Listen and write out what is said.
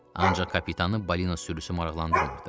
Ancaq kapitanı balina sürüsü maraqlandırmırdı.